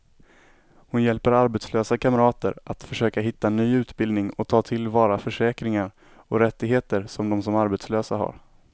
Hon hjälper arbetslösa kamrater att försöka hitta ny utbildning och ta till vara försäkringar och rättigheter som de som arbetslösa har.